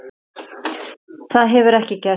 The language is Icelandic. Það hefur ekki gerst.